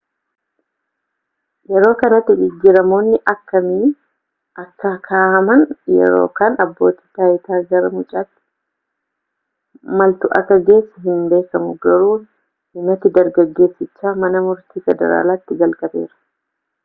yeroo kanatti jijjiiramoonni akkamii akka kaahaman yookaan abbootii taayitaa gara mucaatti maaltu akka geesse hin beekamu garuu himati dargaggeessichaa mana murtii federaalaati jalqabeera